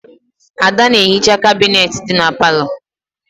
Ada na-ehicha kabinet dị na palọ.